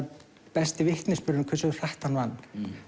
besti vitnisburðurinn um hversu hratt hann vann